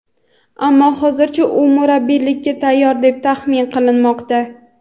ammo hozircha u murabbiylikka tayyor deb taxmin qilinmoqda.